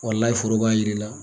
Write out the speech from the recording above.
Walayi foro b'a yir'i la.